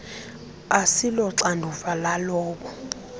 asilo xanduva lalowo